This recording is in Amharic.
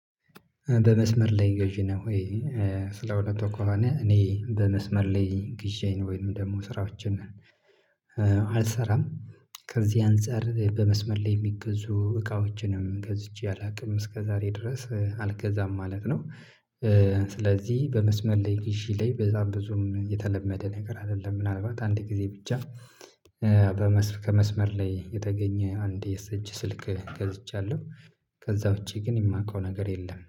በመስመር ላይ ገዢ ነህ ወይ? ስለ እውነት ከሆነ እኔ በመስመር ላይ ገዢ ነው ወይም ደግሞ ስራዎችን አልሰራም። ከዚህ አንፃር በመስመር የሚገዙ እቃዎችንም ገዝቼ አላውቅም እስከዛሬ ድረስ አልገዛም ማለት ነው። ስለዚህ በመስመር ላይ ግዢ ላይ በዛም ብዙም የተለመደ ነገር አይደለም ምናልባት አንድ ጊዜ ብቻ። ከመስመር ላይ የተገኘ አንዴ የእጅ ስልክ ገዝቻለሁ። ከዛ ውጪ ግን የማውቀው ነገር የለም